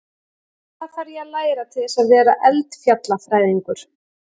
Hvað þarf ég að læra til þess að vera eldfjallafræðingur?